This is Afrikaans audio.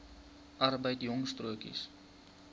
arbeid jong stokkies